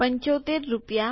૭૫ રૂપિયા